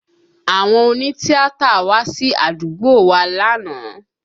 Àwọn òní tíátà wá sí àdúgbò wa lánàá